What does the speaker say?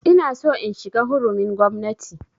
Ina so in shiga hurumin gwamnati